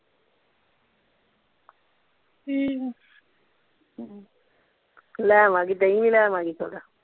ਠੀਕ ਆ ਹਮ ਲੈ ਆਵਾਂਗੀ ਦਹੀਂ ਵੀ ਲੈ ਆਵਾਂਗੀ ਥੋੜਾ